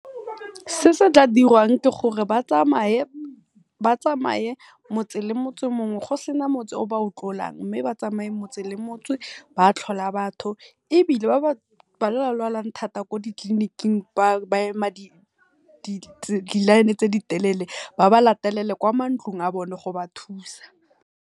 Se se tla dirwang ke gore ba tsamaye motse le motse mong go sena motse o ba o tlolang, mme ba tsamaye motse le motse ba tlhola batho ebile ba ba lwalang thata ko ditleliniking ba ema di line tse di telele ba ba latelele kwa mantlong a bone go ba thusa.